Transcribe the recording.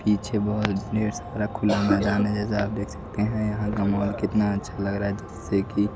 पीछे बहोत ढेर सारा खुला मैदान है जैसा आप देख सकते हैं यहां गमला कितना अच्छा लग रहा है जैसे कि--